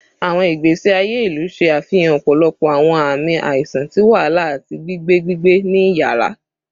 Awọn igbesi aye ilu ṣe afihan ọpọlọpọ awọn aami aiṣan ti wahala ati gbigbe gbigbe ni iyara